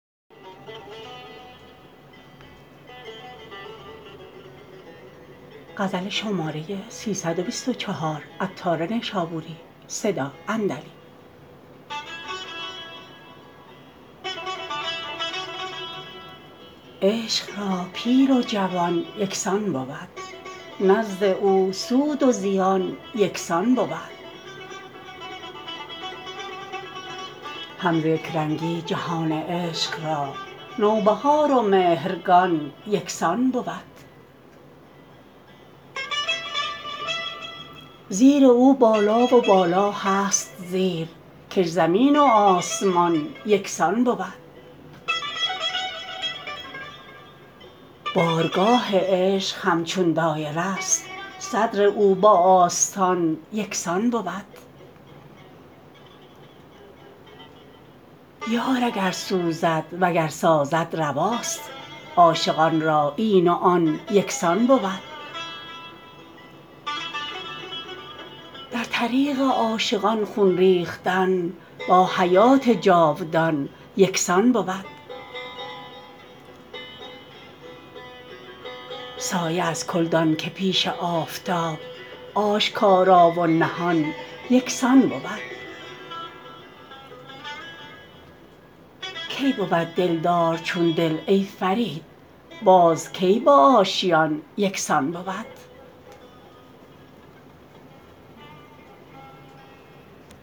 عشق را پیر و جوان یکسان بود نزد او سود و زیان یکسان بود هم ز یکرنگی جهان عشق را نو بهار و مهرگان یکسان بود زیر او بالا و بالا هست زیر کش زمین و آسمان یکسان بود بارگاه عشق همچون دایره است صدر او با آستان یکسان بود یار اگر سوزد وگر سازد رواست عاشقان را این و آن یکسان بود در طریق عاشقان خون ریختن با حیات جاودان یکسان بود سایه از کل دان که پیش آفتاب آشکارا و نهان یکسان بود کی بود دلدار چون دل ای فرید باز کی با آشیان یکسان بود